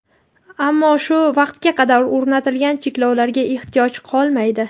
ammo shu vaqtga qadar o‘rnatilgan cheklovlarga ehtiyoj qolmaydi.